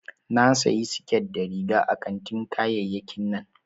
Na sayi siket da riga a kantin kayayyakin nan